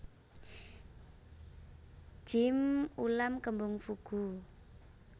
Jjim ulam kembung fugu